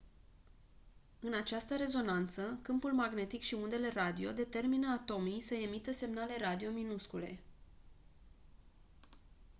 în această rezonanță câmpul magnetic și undele radio determină atomii să emită semnale radio minuscule